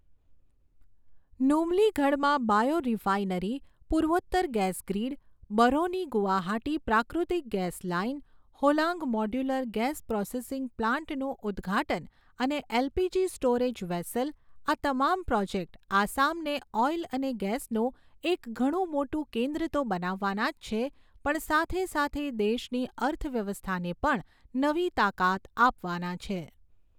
નૂમલીગઢમાં biorefinery, પૂર્વોત્તર gas grid, Barauni Guwahati પ્રાકૃતિક gas line, Hollong modular gas processing પ્લાન્ટનું ઉદ્ઘાટન અને એલપીજી સ્ટોરેજ વેસલ, આ તમામ પ્રોજેક્ટ આસામને ઓઈલ અને ગેસનું એક ઘણું મોટું કેન્દ્ર તો બનાવવાના જ છે, પણ સાથે સાથે દેશની અર્થવ્યવસ્થાને પણ નવી તાકાત આપવાના છે.